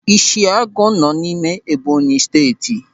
Ịshiagụ nọ n'ime Ẹ́bọ̀nyị̀ Steeti.